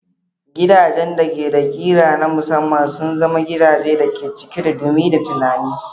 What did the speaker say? Gidajen da ke da ƙira na musamman sun zama gidaje cike da dumi da tunani.